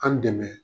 An dɛmɛ